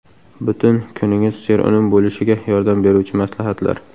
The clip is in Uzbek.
Butun kuningiz serunum bo‘lishiga yordam beruvchi maslahatlar.